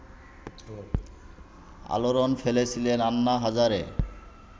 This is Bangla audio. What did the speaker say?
আলোড়ন ফেলেছিলেন আন্না হাজারে